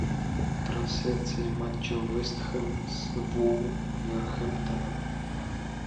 трансляция матча вест хэм с вулверхэмптоном